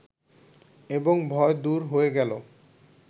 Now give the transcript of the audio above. এবং ভয় দূর হয়ে গেল